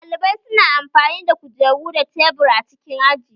Ɗalibai su na amfani da kujeru da tebur a cikin aji